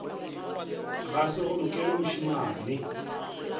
ga se go lokele mošemane